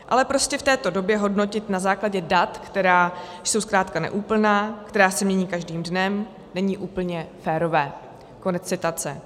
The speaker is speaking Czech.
Ale prostě v této době hodnotit na základě dat, která jsou zkrátka neúplná, která se mění každým dnem, není úplně férové." Konec citace.